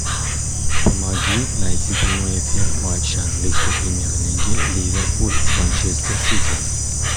помоги найти прямой эфир матча английской премьер лиги ливерпуль с манчестер сити